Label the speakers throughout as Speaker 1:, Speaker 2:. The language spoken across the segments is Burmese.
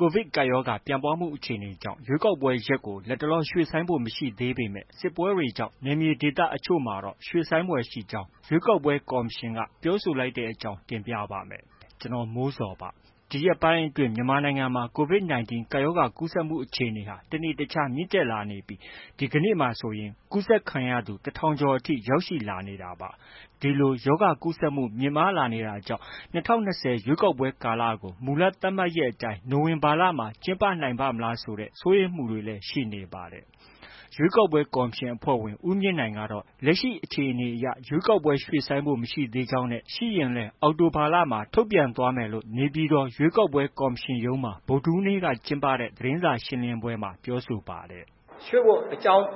Speaker 1: ကိုဗစ်ကပ်ရောဂါ ပြန့်ပွားမှုအခြေအနေကြောင့် ရွေးကောက်ပွဲရက်ကို လတ်တလော ရွှေ့ဆိုင်းဖို့မရှိသေးပေမဲ့ စစ်ပွဲတွေကြောင့် နယ်မြေဒေသတချို့မှာတော့ ရွှေ့ဆိုင်းရဖွယ်ရှိကြောင်း ရွေးကောက်ပွဲ ကော်မရှင်က ပြောဆိုလိုက်တဲ့အကြောင်းကို ဗွီအိုအေမြန်မာပိုင်းသတင်းထောက် ကိုမိုးဇော်က တင်ပြပေးပါမယ်။ ဒီရက်ပိုင်းအတွင်း မြန်မာနိုင်ငံမှာ COVID 19 ရောဂါကူးစက်မှုအခြေအနေဟာ တစ်နေ့တစ်ခြားမြင့် တက်လာနေပြီး ဒီကနေ့မှာဆိုရင် ကူးစက်ခံရသူ ၁,၀၀၀ ကျော်အထိ ရောက်ရှိလာနေတာပါ။ ဒီလို ရောဂါကူးစက်မှု မြင့်မားလာနေတာကြောင့် ၂၀၂ဝ ပြည့်ရွေးကောက်ပွဲကို မူလ သတ်မှတ်ထားတဲ့အတိုင်း နိုဝင်ဘာလမှ ကျင်းပနိုင်ပါ့မလားဆိုတဲ့ စိုးရိမ်မှုတွေလည်း ရှိနေပါတယ်။ ရွေးကောက်ပွဲကော်မရှင် အဖွဲ့ဝင် ဦးမြင့်နိုင်ကတော့ လက်ရှိအခြေအနေအရ ရွေးကောက်ပွဲ ရွှေ့ဆိုင်းဖို့ မရှိသေးကြောင်းနဲ့ ရှိခဲ့ရင်လည်း အောက်တိုဘာလမှ ထုတ်ပြန်သွားမယ်လို့ နေပြည်တော် ရွေးကောက်ပွဲကော်မရှင်ရုံးမှာ ဗုဒ္ဓဟူးနေ့က ကျင်းပတဲ့ သတင်းစာရှင်းလင်းပွဲမှာ ပြောဆိုပါတယ်။
Speaker 2: “ရွှေ့ဖို့အကြောင်း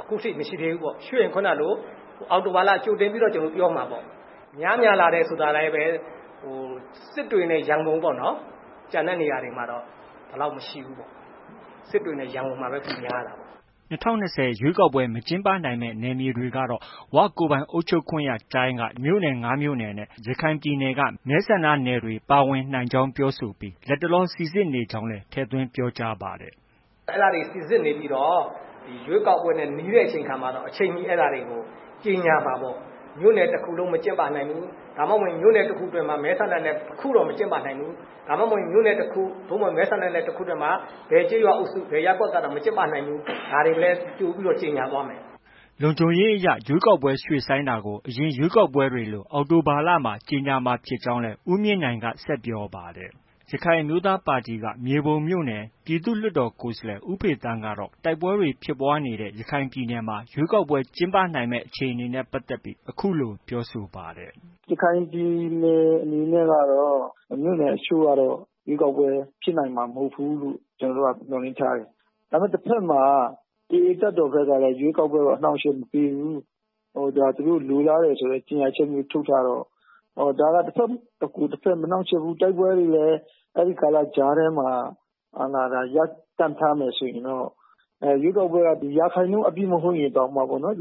Speaker 2: အခုထိ မရှိသေးဘူးပေါ့။ ရွှေ့ရင် ခုဏကလို အောက်တိုဘာလမှာ ကြိုတင်ပြီးတော့ ပြောမှာပေါ့။ များများလာတာကလည်း စစ်တွေနဲ့ ရန်ကုန်ပေါ့နော်။ ကျန်တဲ့နေရာတွေမှာတော့ ဒီလောက် မရှိဘူးပေါ့။ စစ်တွေနဲ့ ရန်ကုန်မှာပဲ ပိုများတာပေါ့။”
Speaker 1: ၂၀၂၀ရွေးကောက်ပွဲ မကျင်းပနိုင်မယ့် နယ်မြေတွေကတော့ ၀ ကိုယ်ပိုင်အုပ်ချုပ်ခွင့်ရတိုင်းက ၅ မြို့နယ်နဲ့ ရခိုင်ပြည်နယ်က မဲဆန္ဒနယ်တွေ ပါဝင်နိုင်ကြောင်း ပြောဆိုပြီး၊ လတ်တလောစိစစ်နေကြောင်းလည်း ထည့်သွင်းပြောကြားပါတယ်
Speaker 2: ။ “အဲဒါတွေ စိစစ်နေပြီးတော့ ရွေးကောက်ပွဲနဲ့ နီးတဲ့အခါမှာတော့ အချိန်မီ အဲဒါတွေကို ကြေညာမှာပေါ့။ မြို့နယ် တစ်ခုလုံးမကျင်းပနိုင်ဘူး။ ဒါမှမဟုတ် မြို့နယ်တစ်ခုအတွင်းမှာ မဲဆန္ဒနယ်တစ်ခုတော့ မကျင်းပနိုင်ဘူး။ ဒါမှ မဟုတ်ရင် မြို့နယ်တစ်ခု၊ မဲဆန္ဒနယ် တစ်ခုအတွင်းမှာ ဘယ်ကျေးရွာအုပ်စု၊ ဘယ်ရပ်ကွက်ကတော့ မကျင်းပနိုင်ဘူး။ ဒါတွေလည်း ကြိုပြီးတော့ ကြေညာသွားမယ်။
Speaker 1: ” လုံခြုံရေးအရ ရွေးကောက်ပွဲရွှေ့ဆိုင်းတာကို အရင်ရွေးကောက်ပွဲတွေလို အောက်တိုဘာလမှာ ကြေညာမှာဖြစ်ကြောင်း ဦးမြင့်နိုင်က ဆက်ပြောပါတယ်။ ရခိုင်အမျိုးသားပါတီက မြေပုံမြို့နယ် ပြည်သူ့လွှတ်တော်ကိုယ်စားလှယ် ဦးဖေသန်းကတော့ တိုက်ပွဲတွေ ဖြစ်ပွားနေတဲ့ ရခိုင်ပြည်နယ်မှာ ရွေးကောက်ပွဲ ကျင်းပနိုင်မယ့် အခြေအနေနဲ့ပတ်သက်ပြီး အခုလို ပြောဆိုပါတယ်။
Speaker 3: “ရခိုင်ပြည်နယ်အနေနဲ့ကတော့ မြို့နယ်တချို့မှာတော့ ရွေးကောက်ပွဲဖြစ်နိုင်မှာ မဟုတ်ဘူးလို့ ကျနော်တို့ကတော့ မျှော်လင့်ထားတယ်။ ဒါပေမဲ့ တဘက်မှာ AA တပ်တော်ဘက်ကလည်းရွေးကောက်ပွဲကို အနှောက်အယှက်မပေးဘူး။ သူတို့လိုလားတယ်ဆိုတဲ့ ကြေညာချက်မျိုးထုတ်ထားတော့၊ ဒါက တစ်ဘက် မနှောင့်ယှက်ဘူး။ တိုက်ပွဲတွေလည်း အဲဒီကာလ ကြားထဲမှာ ရပ်တန့်ထားမယ်ဆိုရင်တော့ ရွေးကောက်ပွဲက ရာခိုင်နှုန်း အပြည့်မဟုတ်ရင်တောင်မှ လုပ်နိုင်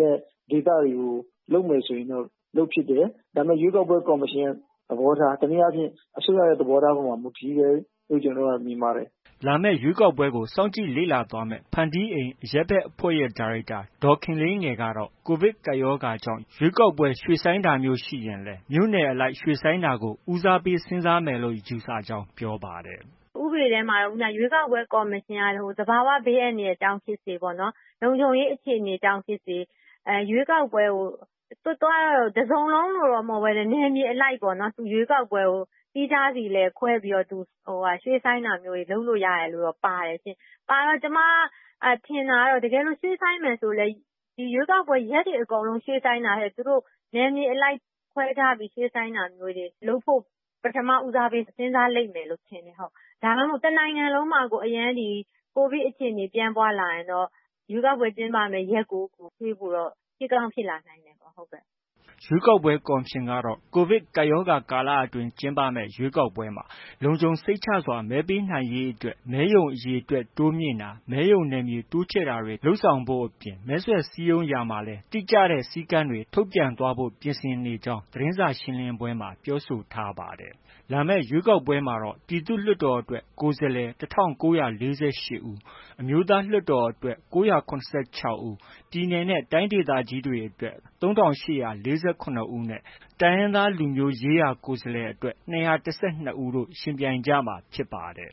Speaker 3: တဲ့ဒေသတွေကို လုပ်မယ်ဆိုရင် လုပ်ဖြစ်တယ်။ ဒါပေမဲ့ ရွေးကောက်ပွဲ ကော်မရှင်ရဲ့ သဘောထား၊ တစ်နည်းအားဖြင့် အစိုးရရဲ့ သဘောထားပေါ် မူတည်တယ်လို့ မြင်ပါတယ်။
Speaker 1: ” လာမယ့် ရွေးကောက်ပွဲကို စောင့်ကြည့်လေ့လာသွားမယ့် ဖန်တီးအိမ်အရပ်ဘက်အဖွဲ့ရဲ့ ဒါရိုက်တာ ဒေါ်ခင်လေးငယ်ကတော့ COVID ကပ်ရောဂါကြောင့် ရွေးကောက်ပွဲရွှေ့ဆိုင်းတာမျိုးရှိရင်လည်း မြို့နယ်အလိုက်ရွှေ့ဆိုင်းတာကို ဦးစားပေးစဉ်းစားမယ်လို့ ယူဆကြောင်း ပြောပါတယ်။
Speaker 4: “ဥပဒေထဲမှာတော့ ရွေးကောက်ပွဲကော်မရှင်က သဘာ၀ ဘေးအန္တရာယ်ကြောင့်ဖြစ်စေ၊ လုံခြုံရေး အခြေအနေကြောင့်ဖြစ်စေ ရွေးကောက်ပွဲကို သူက တစ်စုံလုံးလို့ မဟုတ်ဘဲနဲ့ နယ်မြေအလိုက်ပေါ့ ရွေးကောက်ပွဲကို သီးခြားစီလည်း ခွဲပြီးတော့ ရွှေ့ဆိုင်းတာမျိုး လုပ်လို့ ရတယ်လို့တော့ ပါတယ်။ ပါတော့ ကျမထင်တာကတော့ ရွှေ့ဆိုင်းမယ်ဆိုလည်း ရွေးကောက်ပွဲ ရက်တွေ အကုန်လုံး ရွှေ့ဆိုင်းတာထက် နယ်မြေအလိုက်ခွဲခြားပြီး ရွှေ့ဆိုင်းတာမျိုးတွေ လုပ်ဖို့ ပထမ ဦးစားပေး စဉ်းစားလိမ့်မယ်လို့ ထင်တယ်။ ဒါမှ မဟုတ် တစ်နိုင်ငံလုံးမှာကို COVID အခြေအနေ ပြန့်ပွားလာရင်တော့ ရွေးကောက်ပွဲကျင်းပမယ့် ရက်ကို ရွှေ့ဖို့တော့ ဖြစ်ကောင်းဖြစ်လာနိုင်တယ်။”
Speaker 1: ရွေးကောက်ပွဲ ကော်မရှင်ကတော့ COVID ကပ်ရောဂါ ကာလအတွင်း ကျင်းပမယ့် ရွေးကောက်ပွဲမှာ လုံခြုံစိတ်ချစွာ မဲပေးနိုင်ရေးအတွက် မဲရုံအရေအတွက် တိုးမြှင့်တာ၊ မဲရုံနယ်မြေ တိုးချဲ့တာတွေလုပ်ဆောင်ဖို့ အပြင် မဲဆွယ်စည်းရုံးရာမှာလည်း တိကျတဲ့ စည်းကမ်းတွေထုတ်ပြန်သွားဖို့ ပြင်ဆင်နေကြောင်းလည်း သတင်းစာရှင်းလင်းပွဲမှာ ပြောဆိုထားပါတယ်။ လာမယ့်ရွေးကောက်ပွဲမှာတော့ ပြည်သူ့လွှတ်တော်အတွက် ကိုယ်စားလှယ် ၁,၉၄၈ ဦး၊ အမျိုးသားလွှတ်တော်အတွက် ၉၇၆ ဦး၊ ပြည်နယ်နဲ့ တိုင်းဒေသကြီးအတွက် ၃,၈၄၇ ဦး၊ တိုင်းရင်းသားလူမျိုးရေးရာကိုယ်စားလှယ်အတွက် ၂၁၂ ဦးတို့ ယှဉ်ပြိုင်ကြမှာ ဖြစ်ပါတယ်